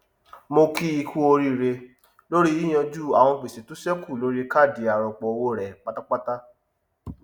mo kíi kú oríre lórí yíyànjú àwọn gbèsè tó sẹkù lórí káàdì arọpọ owó rẹ pátápátá